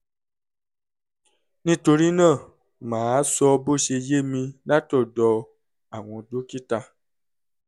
nítorí náà màá sọ bó ṣe yé mi látọ̀dọ̀ àwọn dókítà